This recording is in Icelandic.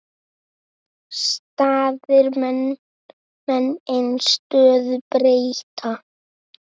Staðir menn ei stöðu breyta.